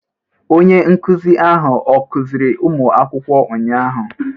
Onye nkụzi ahụ ọ kụziiri ụmụ akwụkwọ ụnyahụ?